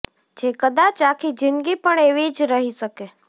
જે કદાચ આખી જિંદગી પણ એવી જ રહી શકે